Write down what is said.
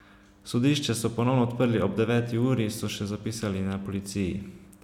Sodišče so ponovno odprli ob deveti uri, so še zapisali na policiji.